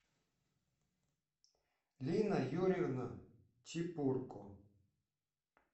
лина юрьевна чепурко